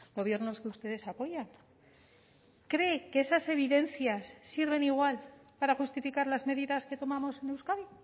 gobiernos que ustedes apoyan cree que esas evidencias sirven igual para justificar las medidas que tomamos en euskadi